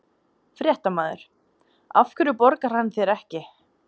Fréttamaður: Af hverju borgar hann þér ekki?